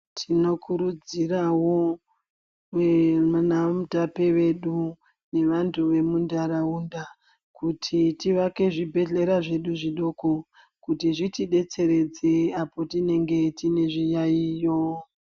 Tinokurudzirawo vanaMutape vedu nevantu vemuntaraunda kuti tivake zvibhedhleya zvedu zvidoko kuti zvitidetseredze apo tinenge tine zviyayiyo.